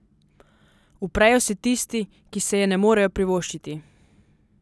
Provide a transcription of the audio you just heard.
Uprejo se tisti, ki si je ne morejo privoščiti.